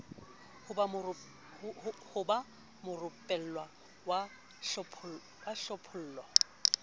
ho ba morupellwa wa hlophollo